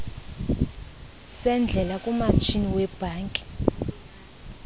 sendlela kumatshini webhanki